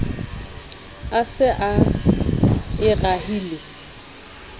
a se a e rahile